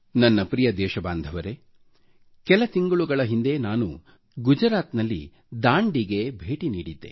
ನನ್ನ ಪ್ರಿಯ ದೇಶ ಬಾಂಧವರೆ ಕೆಲ ತಿಂಗಳುಗಳ ಹಿಂದೆ ನಾನು ಗುಜರಾತ್ನಲ್ಲಿ ದಾಂಡಿಗೆ ಭೇಟಿ ನೀಡಿದ್ದೆ